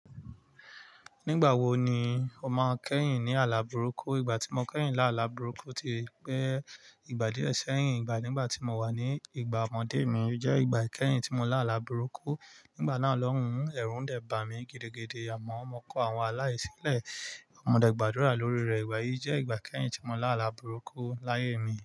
Nígbà wo ni o máa kẹ́yìn ní àlá burúkú? Ìgbà tí mo kẹ́yìn láàlá burúkú ti pẹ́. Ìgbà díẹ̀ sẹ́yìn, ìgbà nígbà tí mo wà ní ìgbà ọmọdé mi o jẹ́ ìgbà ikẹ́yìn tí mo lá àlá burúkú. Nígbà náà lọ́hùún ẹ̀rù ń dẹ̀ bà mí gidigidi. A mọ̀ọ́n, mo kọ àwọn alá yìí sílẹ̀. Mo dẹ̀ gbàdúrà lórí rẹ̀. Ìgbà yìí jẹ́ ìgbà ìkẹ́yìn tí mo lá àlá burúkú láyé mi.